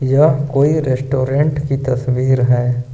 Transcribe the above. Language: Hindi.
यह कोई रेस्टोरेंट की तस्वीर है।